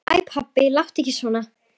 Æ pabbi, láttu ekki svona.